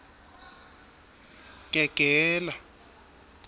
gegela